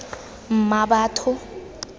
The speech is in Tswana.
mmabatho